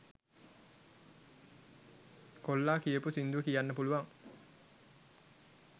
කොල්ලා කියපු සින්දුව කියන්න පුළුවන්